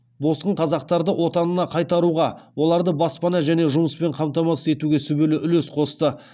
босқын қазақтарды отанына қайтаруға оларды баспана және жұмыспен қамтамасыз етуге сүбелі үлес қосты